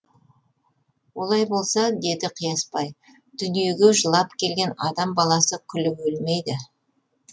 олай болса деді қиясбай дүниеге жылап келген адам баласы күліп өлмейді